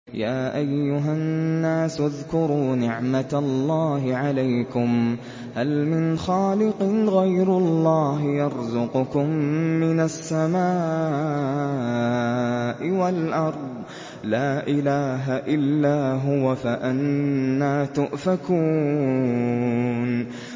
يَا أَيُّهَا النَّاسُ اذْكُرُوا نِعْمَتَ اللَّهِ عَلَيْكُمْ ۚ هَلْ مِنْ خَالِقٍ غَيْرُ اللَّهِ يَرْزُقُكُم مِّنَ السَّمَاءِ وَالْأَرْضِ ۚ لَا إِلَٰهَ إِلَّا هُوَ ۖ فَأَنَّىٰ تُؤْفَكُونَ